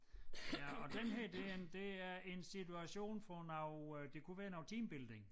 Ja og den her det en det er en situation for noget øh det kunne være noget teambuilding